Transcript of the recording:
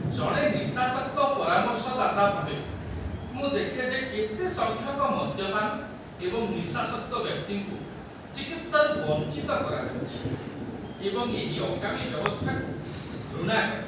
ଜଣେ ନିଶାସକ୍ତ ପରାମର୍ଶଦାତା ଭାବେ, ମୁଁ ଦେଖେ ଯେ କେତେ ସଂଖ୍ୟକ ମଦ୍ୟପାନ ଏବଂ ନିଶାସକ୍ତ ବ୍ୟକ୍ତିଙ୍କୁ ଚିକିତ୍ସାରୁ ବଞ୍ଚିତ କରାଯାଉଛି ଏବଂ ଏହି ଅକାମୀ ବ୍ୟବସ୍ଥାକୁ ଘୃଣା କରେ।